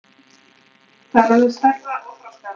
Það er orðið stærra og þroskaðra.